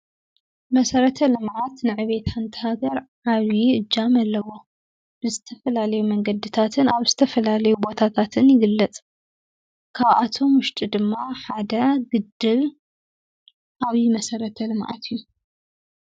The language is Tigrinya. መሰረተ ልምዓት ንዕብየት ሓንቲ ሃገር ዓብዪ እጃም ኣለዎ። ብዝተፈላለዩ መንገድታትን ኣብ ዝተፈላለዩ ቦታታትን ይግለፅ። ካብኣቶም ዉሽጢ ድማ ሓደ ግድብ ዓብዪ መሰረተ ልምዓት እዩ።